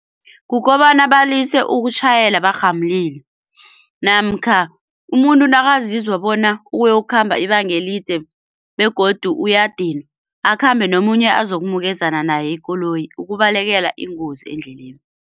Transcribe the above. Kukobana balise ukutjhayela barhamulile namkha umuntu nakazizwa bona uyokukhamba ibanga elide begodu uyadinwa, akhambe nomunye azokumukezana naye ikoloyi ukubalekela ingozi endleleni.